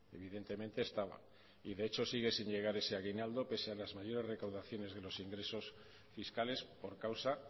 evidentemente estaba y de hecho sigue sin llegar ese aguinaldo pese a las mayores recaudaciones de los ingresos fiscales por causa